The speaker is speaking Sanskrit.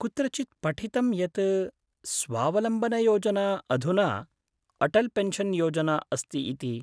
कुत्रचित् पठितं यत् स्वावलम्बनयोजना अधुना अटल् पेन्शन् योजना अस्ति इति।